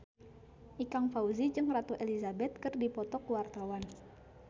Ikang Fawzi jeung Ratu Elizabeth keur dipoto ku wartawan